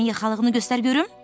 Köynəyinin yaxalığını göstər görüm.